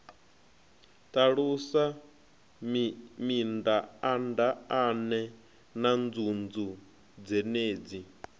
ṱalusa mindaandaane na nzunzu dzenedzi